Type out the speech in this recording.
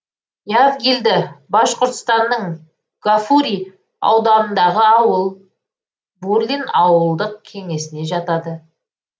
явгильды башқұртстанның гафурий ауданындағы ауыл бурлин ауылдық кеңесіне жатады